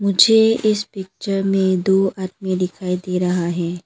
मुझे इस पिक्चर में दो आदमी दिखाई दे रहा है।